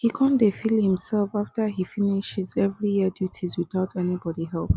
he come dey feel himself after he finish his every year duties without any body help